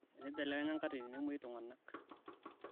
enibelekenya nkatitin nemweui tunganak